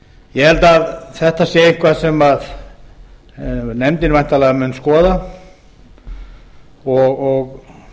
ég held að þetta sé eitthvað sem nefndin væntanlega mun skoða og